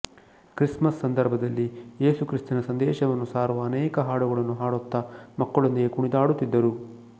Christmas ಸಂದರ್ಭದಲ್ಲಿ ಏಸುಕ್ರಿಸ್ತನ ಸಂದೇಶವನ್ನು ಸಾರುವ ಅನೇಕ ಹಾಡುಗಳನ್ನು ಹಾಡುತ್ತಾ ಮಕ್ಕಳೊಂದಿಗೆ ಕುಣಿದಾಡುತ್ತಿದ್ದರು